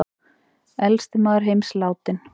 Elsti maður heims látinn